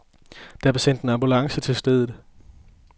Der blev sendt en ambulance til stedet.